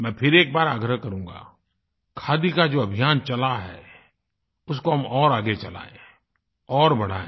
मैं फिर एक बार आग्रह करूँगा खादी का जो अभियान चला है उसको हम और आगे चलायें और बढ़ायें